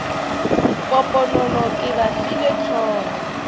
poponono ke ba file hlogo